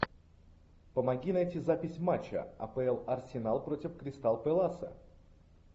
помоги найти запись матча апл арсенал против кристал пэласа